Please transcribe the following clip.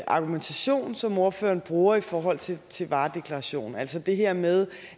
argumentation som ordføreren bruger i forhold til til varedeklarationer altså det her med